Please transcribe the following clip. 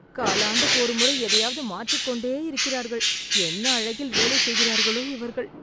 காலாண்டுக்கு ஒரு முறை எதையாவது மாற்றிக்கொண்டே இருக்கிறார்கள். என்ன அழகில் வேலைச் செய்கிறார்களோ இவர்கள்!